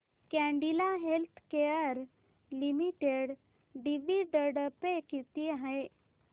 Cadila healthcare limited dividend pay किती आहे